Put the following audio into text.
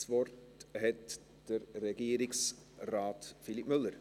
Das Wort hat Regierungsrat Philipp Müller.